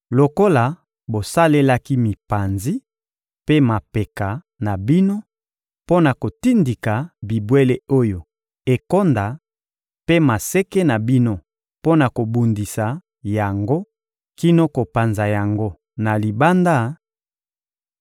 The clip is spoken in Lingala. Lokola bosalelaki mipanzi mpe mapeka na bino mpo na kotindika bibwele oyo ekonda, mpe maseke na bino mpo na kobundisa yango kino kopanza yango na libanda,